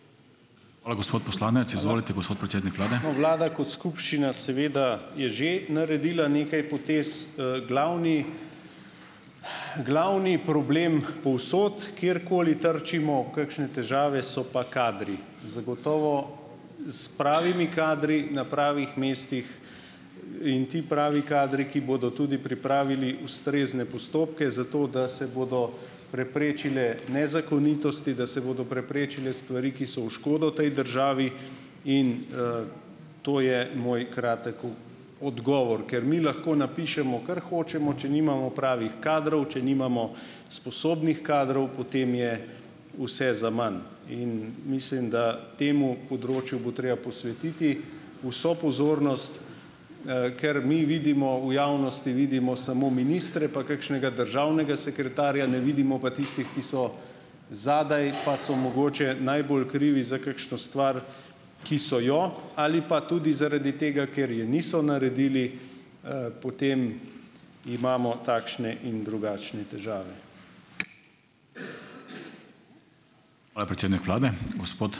No , vlada kot skupščina seveda je že naredila nekaj potez. Glavni ... Glavni problem povsod, kjerkoli trčimo v kakšne težave, so pa kadri. Zagotovo s pravimi kadri na pravih mestih, in ti pravi kadri, ki bodo tudi pripravili ustrezne postopke zato, da se bodo preprečile nezakonitosti, da se bodo preprečile stvari, ki so v škodo tej državi, in, to je moj kratek odgovor. Ker mi lahko napišemo, kar hočemo, če nimamo pravih kadrov, če nimamo sposobnih kadrov, potem je vse zaman. In mislim, da temu področju bo treba posvetiti vso pozornost, ker mi vidimo v javnosti vidimo samo ministre, pa kakšnega državnega sekretarja, ne vidimo pa tistih, ki so zadaj, pa so mogoče najbolj krivi za kakšno stvar, ki so jo ali pa tudi zaradi tega, ker je niso naredili, potem imamo takšne in drugačne težave.